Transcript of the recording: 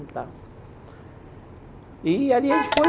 E ali a gente foi...